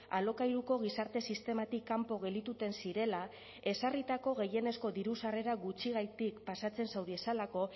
alokairuko gizarte sistematik kanpo geldituten zirela ezarritako gehienezko diru sarrerak gutxigatik pasatzen zauriezalako